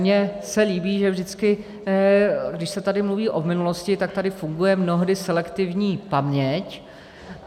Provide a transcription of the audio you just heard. Mně se líbí, že vždycky, když se tady mluví o minulosti, tak tady funguje mnohdy selektivní paměť.